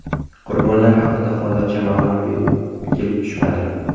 Qurbonlar haqida hozircha ma’lumot kelib tushmadi.